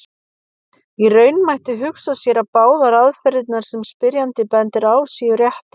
Í raun mætti hugsa sér að báðar aðferðirnar sem spyrjandi bendir á séu réttar.